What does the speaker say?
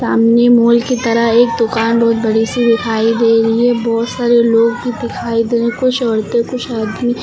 सामने मॉल की तरह एक दुकान बहुत बड़ी सी दिखाई दे रही है बहुत सारे लोग भी दिखाई दे रहे कुछ औरतें कुछ आदमी--